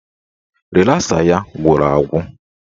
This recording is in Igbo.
Rịlasa ya gwụrụ agwụ